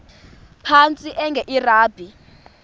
phantsi enge lrabi